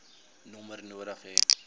nommer nodig hê